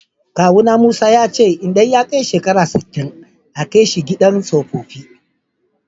Kawu na Musa, ya ce idan ya kai shekara sitin a Kai shi idan sohohi.